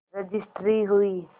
registry हुई